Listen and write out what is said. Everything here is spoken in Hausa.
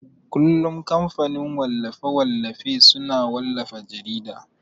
kullun kamfanin wallafe-wallafe suna wallafa jarida.